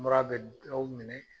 Mura bɛ dɔw minɛ